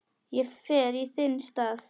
Ég fer í þinn stað